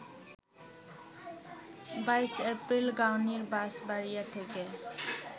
২২ April গাংনীর বাঁশবাড়িয়া থেকে